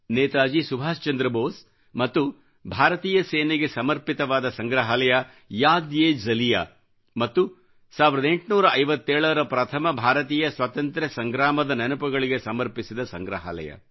ನೇತಾಜಿ ಸುಭಾಷ್ ಚಂದ್ರ ಬೋಸ್ ಮತ್ತು ಭಾರತೀಯ ಸೇನೆಗೆ ಸಮರ್ಪಿತವಾದ ಸಂಗ್ರಹಾಲಯ ಯಾದ್ ಎ ಜಲಿಯಾ ಮತ್ತು 1857ರ ಪ್ರಥಮ ಭಾರತೀಯ ಸ್ವತಂತ್ರ ಸಂಗ್ರಾಮದ ನೆನಪುಗಳಿಗೆ ಸಮರ್ಪಿಸಿದ ಸಂಗ್ರಹಾಲಯ